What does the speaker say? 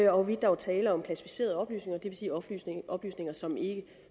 og hvorvidt der er tale om klassificerede oplysninger det vil sige oplysninger oplysninger som ikke